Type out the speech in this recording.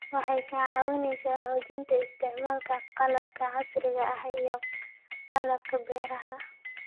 Waxay ka caawisaa xoojinta isticmaalka qalabka casriga ah iyo qalabka beeraha.